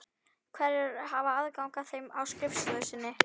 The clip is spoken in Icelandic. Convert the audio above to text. Hverjir hafa aðgang að þeim á skrifstofu þinni?